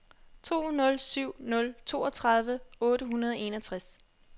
to nul syv nul toogtredive otte hundrede og enogtres